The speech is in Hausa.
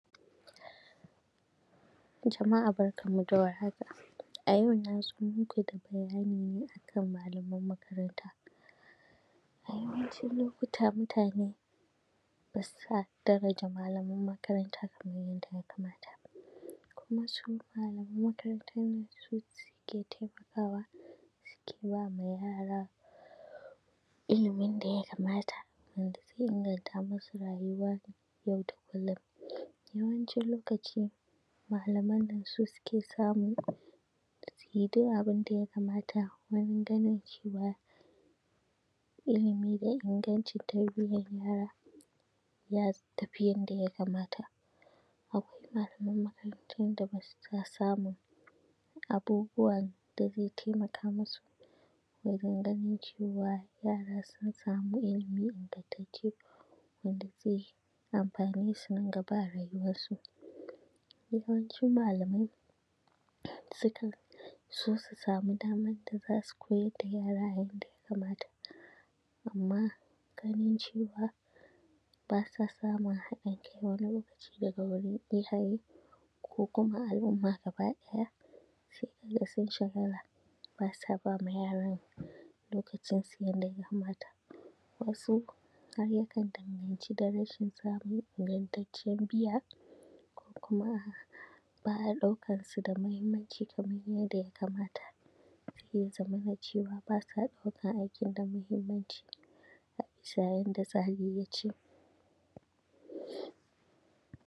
Jama’a barkanmu da warhaka, a yau na zo muku da bayani ne a kan malaman makaranta, a yawancin lokuta mutane bassa daraja malaman makaranta kaman yadda ya kamata. Kuma su malaman makarantan nan su suke taimakawa suke ba ma yara ilimin da ya kamata wanda ze inganta musu rayuwa yau da kullum. Yawancin lokaci malaman nan su suke samu su yi du abin da ya kamata wurin ganin cewa ilimi da ingancin tarbiyan yara ya tafi yadda ya kamata akwai malaman makarantan da bassa samun abubuwan da ze taimaka musu wurin ganin cewa yara sun samu ilimi ingantacce, wanda ze amfane su nan gaba a rayuwarsu, yawancin malamai sukan so su samu damad da za su koyad da yara a yanda ya kamata amma ganin cewaa ba sa samun haɗin kai wani lokaci daga wurin iyaye ko kuma al’umma gabaɗaya, sai ka ga sun shagala ba sa ba ma yaran lokacinsu yanda ya kamata, wasu har yakan danganci da rashin samun ingantacciyan biya ko kuma a; ba a ɗaukar su da mahimmanci kaman yanda ya kamata sai ya zamana cewa ba sa ɗaukan aikin da mahimmanci a bisa yanda tsari ya ce.